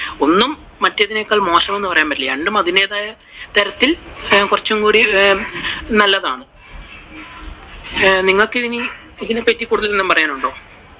ഒന്നും മറ്റേതിനേക്കാളും മോശം എന്ന് പറയാൻ . രണ്ടും അതിന്റെതായ തരത്തിൽ കുറച്ചുംകൂടി നല്ലതാണ്. നിങ്ങക്ക് ഇനി ഇതിനെപറ്റി കൂടുതൽ എന്തെങ്കിലും പറയാനുണ്ട്?